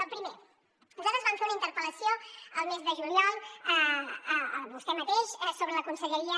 el primer nosaltres vam fer una interpel·lació el mes de juliol a vostè mateix sobre la conselleria